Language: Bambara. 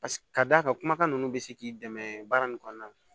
Paseke k'a d'a ka kumakan ninnu bɛ se k'i dɛmɛ baara nin kɔnɔna na